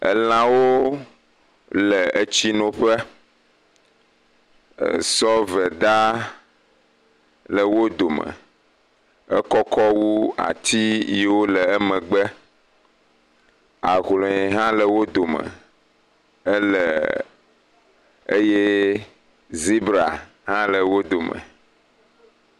Elãwo le tsi noƒe. Sɔveda le wò dome, ekɔ wu ati yi wole emegbe. Ahlɔe hã le wò dome ele Àte zibra hã le wò domo.